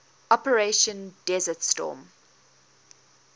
operation desert storm